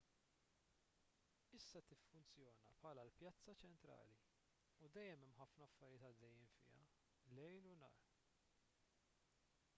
issa tiffunzjona bħala l-pjazza ċentrali u dejjem hemm ħafna affarijiet għaddejjin fiha lejl u nhar